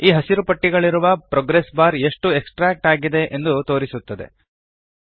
ಈ ಹಸಿರು ಪಟ್ಟಿಗಳಿರುವ ಪ್ರೊಗ್ರೆಸ್ ಬಾರ್ ಎಷ್ಟು ಎಕ್ಸ್ಟ್ರಾಕ್ಟ್ ಆಗಿದೆ ಎಂದು ತೋರಿಸುತ್ತದೆ